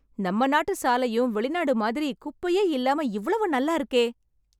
நம்ம நாட்டு சாலையும் வெளிநாடு மாதிரி குப்பையே இல்லாம இவ்வளவு நல்லா இருக்கே.